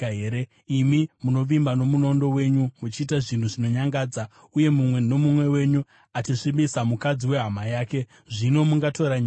Imi munovimba nomunondo wenyu, muchiita zvinhu zvinonyangadza, uye mumwe nomumwe wenyu achisvibisa mukadzi wehama yake. Zvino mungatora nyika here?’